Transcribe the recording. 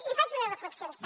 li faig unes reflexions també